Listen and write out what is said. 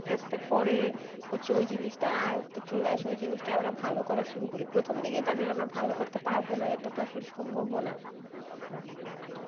আসতে আসতে পরে হচ্ছে ওই জিনিসটা আয়ত্তে চলে আসে ওই জিনিসটা আমরা ভালো করা শুরু করি, প্রথমদিকেই তাছাড়া আমরা ভালো করতে পারব না ওটা তো আসল সম্ভব ও না